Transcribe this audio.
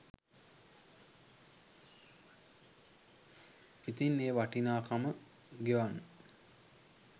ඉතිං ඒ වටිනාකම ගෙවන්න